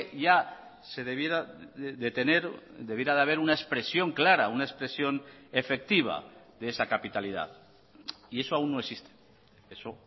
ya se debiera de tener debiera de haber una expresión clara una expresión efectiva de esa capitalidad y eso aún no existe eso